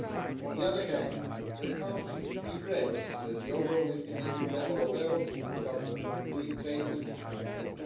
On the other hand, the Council regrets that the overall estimated level of error for 2017 payments at